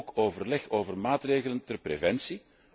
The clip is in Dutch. En ook overleg over maatregelen ter preventie.